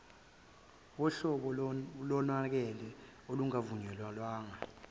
wuhlobo lomonakalo olungavunyelwe